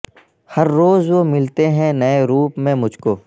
ہر روز وہ ملتے ہیں نئے روپ میں مجھ کو